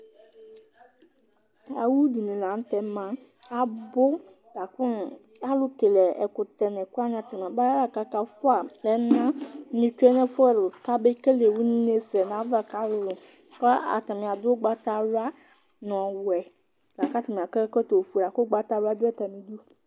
Awʋ dini lanʋtɛ ma abʋ lakʋ alʋkele ɛkʋtɛwani atani aba lakʋ akafʋa ɛna ketsue nʋ efʋ ɛlʋ kabe une sɛnʋ ayʋ ava kʋ alʋlʋ kʋ atani adʋ ʋgbatawla nʋ ɔwɛ, lakʋ atani akɔ ɛkɔtɔfue lakʋ ʋgbatawla dʋ atali idʋ.